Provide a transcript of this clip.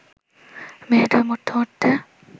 মেয়েদের মরতে মরতে